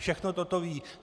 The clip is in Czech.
Všechno toto ví.